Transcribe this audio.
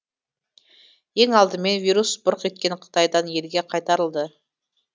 ең алдымен вирус бұрқ еткен қытайдан елге қайтарылды